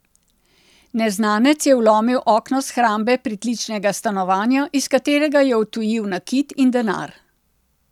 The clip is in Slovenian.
Neznanec je vlomil okno shrambe pritličnega stanovanja, iz katerega je odtujil nakit in denar.